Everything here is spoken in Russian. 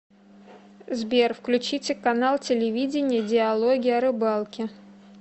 сбер включите канал телевидения диалоги о рыбалке